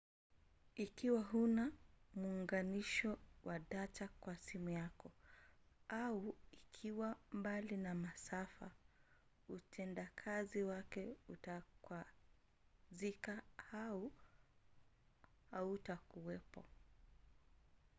ikiwa huna muunganisho wa data kwa simu yako au ikiwa mbali na masafa utendakazi wake utakwazika au hautakuwepo